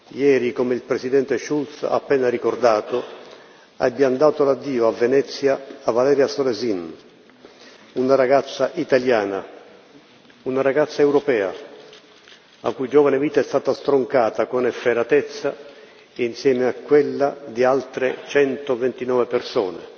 Ieri, come il presidente Schulz ha appena ricordato, abbiamo dato l'addio a Venezia, a Valeria Solesin, una ragazza italiana, una ragazza europea, la cui giovane vita è stata stroncata, con efferatezza, insieme a quella di altre 129 persone.